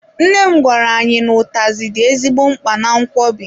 Nne m gwara anyị n'utazi dị ezigbo mkpa na nkwobi.